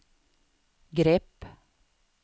grepp